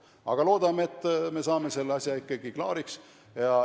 Aga loodame, et me saame selle asja ikkagi klaariks.